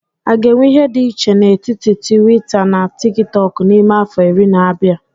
A ga-enwe ihe dị iche n'etiti tuwita na tikitoku n'ime afọ iri na-abia?